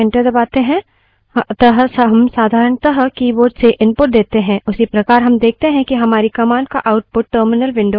उसी प्रकार हम देखते हैं कि हमारी command का output terminal window पर भी प्रदर्शित होता है